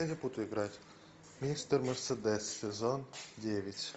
я не буду играть мистер мерседес сезон девять